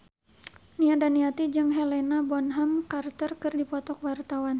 Nia Daniati jeung Helena Bonham Carter keur dipoto ku wartawan